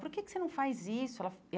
Por que que você não faz isso? Ela